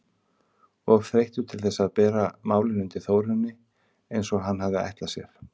Of þreyttur til þess að bera málin undir Þórunni eins og hann hafði ætlað sér.